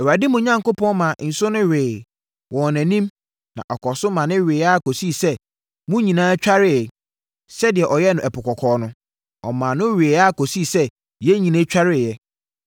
Awurade, mo Onyankopɔn, maa nsuo no wee wɔ mo anim na ɔkɔɔ so ma ɛweeɛ ara kɔsii sɛ mo nyinaa twareeɛ, sɛdeɛ ɔyɛeɛ wɔ Ɛpo Kɔkɔɔ no. Ɔmaa no weeɛ ara kɔsii sɛ yɛn nyinaa twareeɛ.